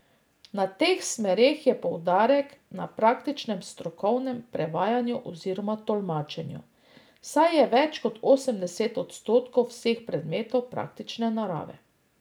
Na teh smereh je poudarek na praktičnem strokovnem prevajanju oziroma tolmačenju, saj je več kot osemdeset odstotkov vseh predmetov praktične narave.